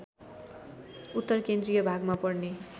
उत्तरकेन्द्रीय भागमा पर्ने